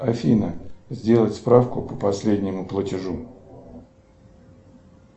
афина сделать справку по последнему платежу